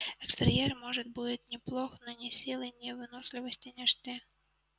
экстерьер может будет и неплох но ни силы ни выносливости не жди